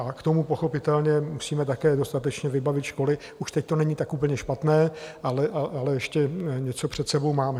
A k tomu pochopitelně musíme také dostatečně vybavit školy - už teď to není tak úplně špatné, ale ještě něco před sebou máme.